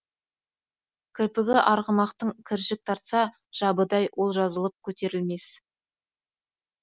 кірпігі арғымактың кіржік тартса жабыдай ол жазылып көтерілмес